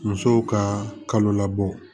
Musow ka kalo labɔ